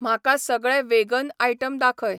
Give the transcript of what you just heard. म्हाका सगळे vegan item दाखय